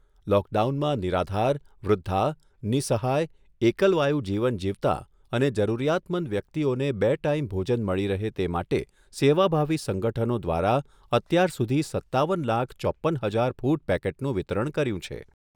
લોકડાઉનમાં નિરાધાર, વૃદ્ધા, નિઃસહાય, એકલવાયુ જીવન જીવતાં અને જરૂરિયાતમંદ વ્યક્તિઓને બે ટાઇમ ભોજન મળી રહે તે માટે સેવાભાવી સંગઠનો દ્વારા અત્યાર સુધી સત્તાવન લાખ ચોપ્પન હજાર ફૂડ પેકેટનું વિતરણ કર્યું છે.